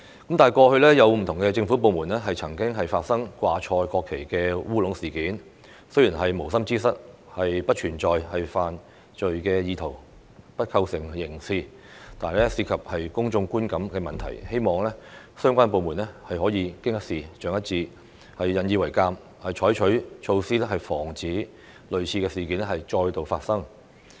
但是，過去有不同的政府部門曾發生掛錯國旗的"烏龍"事件，雖然是無心之失，不存在犯罪意圖，不構成刑責，但涉及公眾觀感的問題，希望相關部門可以經一事長一智，引以為鑒，採取措施防止類似事件再度發生。